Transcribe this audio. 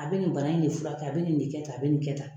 A bɛ nin bana in de furakɛ a bɛ nin de kɛ tan a bɛ nin kɛ tan